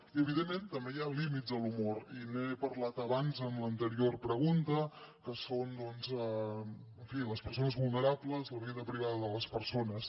i evidentment també hi han límits a l’humor i n’he parlat abans en l’anterior pregunta que són doncs en fi les persones vulnerables la vida privada de les persones